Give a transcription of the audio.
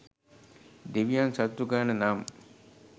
දෙවියන් සතුටු කරන්න නම්